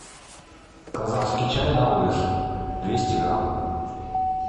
казахский чай наурыз двести грамм